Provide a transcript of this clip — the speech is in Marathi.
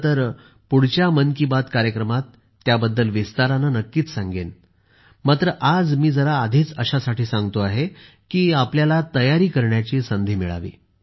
खरे तर पुढच्या मन की बात कार्यक्रमात त्याबद्दल विस्ताराने नक्कीच सांगेन मात्र आज मी जरा आधीच अशासाठी सांगतो आहे की आपल्याला तयारी करण्याची संधी मिळावी